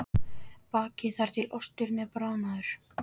Bakið þar til osturinn er bráðnaður.